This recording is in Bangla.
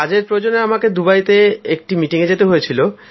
কাজের প্রয়োজনে আমাকে দুবাইতে একটি মিটিংয়ে যেতে হয়েছিল